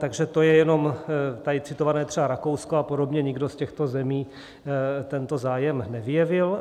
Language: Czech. Takže to je jenom tady citované třeba Rakousko a podobně, nikdo z těchto zemí tento zájem nevyjevil.